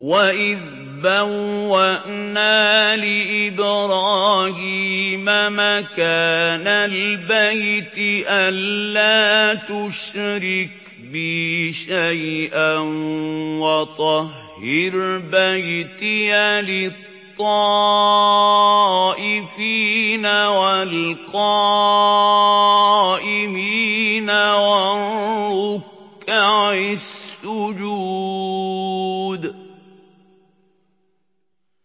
وَإِذْ بَوَّأْنَا لِإِبْرَاهِيمَ مَكَانَ الْبَيْتِ أَن لَّا تُشْرِكْ بِي شَيْئًا وَطَهِّرْ بَيْتِيَ لِلطَّائِفِينَ وَالْقَائِمِينَ وَالرُّكَّعِ السُّجُودِ